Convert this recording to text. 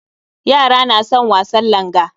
Yara na son wasan langa